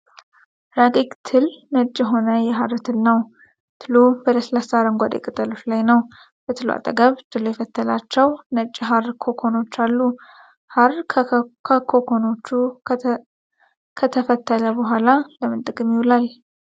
ረቂቅ ትል ነጭ የሆነ የሐር ትል ነው። ትሉ በለስላሳ አረንጓዴ ቅጠሎች ላይ ነው። በትሉ አጠገብ ትሉ የፈተላቸው ነጭ የሐር ኮኮኖች አሉ። ሐር ከኮኮኖቹ ከተፈተለ በኋላ ለምን ጥቅም ይውላል?